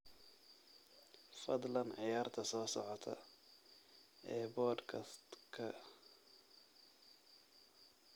fadlan ciyaarta soo socota ee podcast-ka